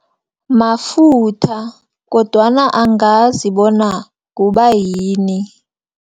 Mafutha, kodwana angazi bona kubayini.